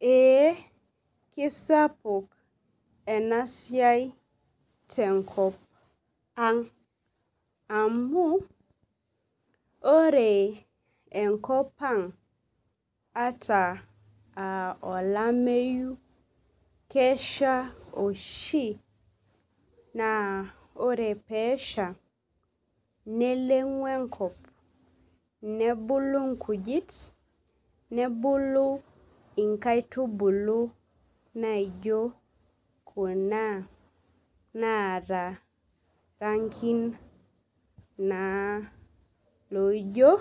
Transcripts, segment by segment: Ee kesapuk enasiai tenkopang amu ore enkopang ata aa olomeyu kesha oshi na ore pesha nelengu enkop nebulu nkujit nebulu nkaitubulu naijo kuna naata rangin na loijo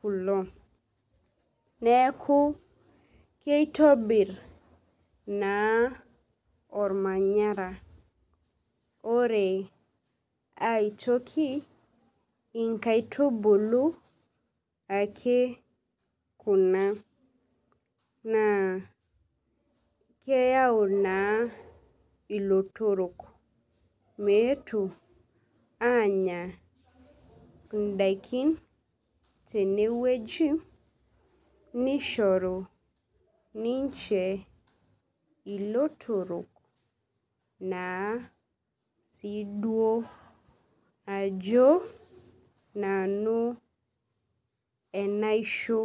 kulo neaku kitobir na ormanyara ore aitoki inkaitubulu ale kuna na keyau naa ilotorok meetu anya ndakin tenewueji niahoru ninche ilotorok naa ajo nanu enaisho.